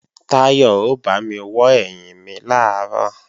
Táyọ̀ ó bámi wọ́ ẹ̀yìn mi làárọ̀